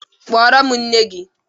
Kpọrọ m nne gị!